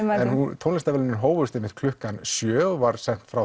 en tónlistarverðlaunin hófust einmitt klukkan sjö og var sent frá